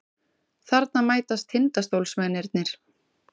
Þarna mætast Tindastólsmennirnir.